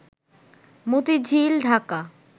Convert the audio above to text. Motijheel, Dhaka